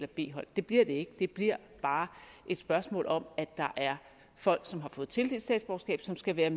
b hold det bliver det ikke det bliver bare et spørgsmål om at der er folk som har fået tildelt statsborgerskab som skal lade